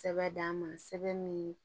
Sɛbɛn d'an ma sɛbɛn min